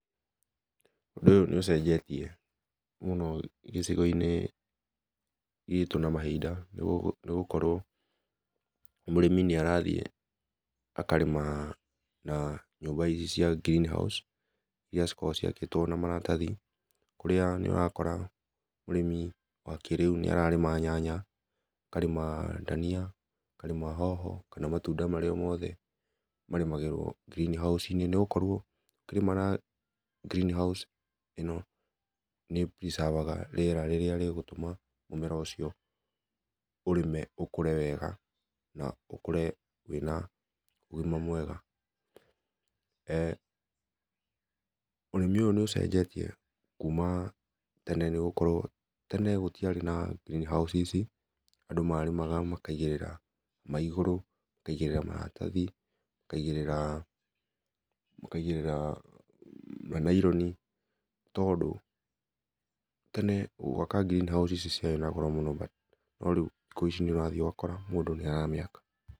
Ũndũ ũyũ nĩũcenjetie mũno gĩcigo-inĩ gitũ na mahinda nĩgũkorwo mũrĩmi nĩarathiĩ akarĩma na nyũmba ici cia greenhouse iria cikoragwo ciakĩtwo na maratathi, kũrĩa nĩũrakora mũrĩmi wa kĩrĩu nĩararĩma nyanya, akarĩma dania, akarĩma hoho, kana matunda marĩa mothe marĩmagĩrwo greenhouse-inĩ, nĩgũkorwo ũkĩrĩma na greenhouse ĩno nĩ ĩpreservaga rĩera rĩrĩa rĩgũtũma mũmera ũcio ũrĩme ũkũre wega, na ũkũre wĩna ũgima mwega. Ũrĩmi ũyũ nĩũcenjetie kuma tene nĩgũkorwo tene gũtiarĩ na greenhouse ici, andũ marĩmaga makaigĩrĩra maĩ igũrũ, makaigĩrĩra maratathi, makaigĩrĩra, makaigĩrĩra naironi, tondũ tene gwaka greenhouse ici ciarĩ na goro mũno, no rĩu thikũ ici nĩũrathiĩ ũgakora mũndũ nĩaramĩaka.